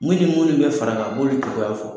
Mun ni mun ni bɛ far'a kan, a b'olu kibaruya fɔ.